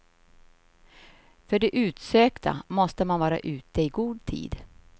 För det utsökta måste man vara ute i god tid.